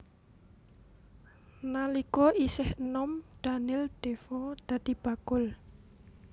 Nalika isih enom Daniel Defoe dadi bakul